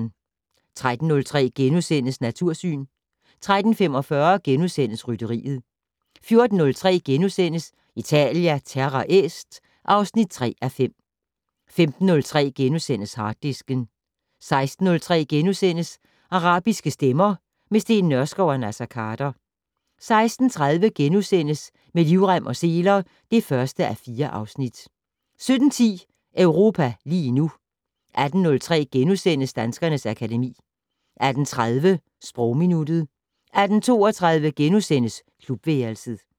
13:03: Natursyn * 13:45: Rytteriet * 14:03: Italia Terra Est (3:5)* 15:03: Harddisken * 16:03: Arabiske stemmer - med Steen Nørskov og Naser Khader * 16:30: Med livrem og seler (1:4)* 17:10: Europa lige nu 18:03: Danskernes akademi * 18:30: Sprogminuttet 18:32: Klubværelset *